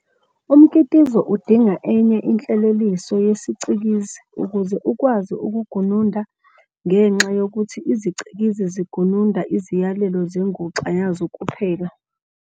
Umkitizo udinga enye inhleleliso yesicikizi ukuze ukwazi ukugununda ngenxa yokuthi izicikizi zigununda iziyalelo zenguxa yazo kuphela.